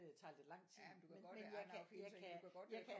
Det tager lidt lang tid men jeg kan jeg kan jeg kan